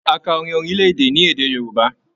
A ká orin orilẹ-èdè ní èdè Yorùbá.